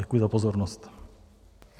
Děkuji za pozornost.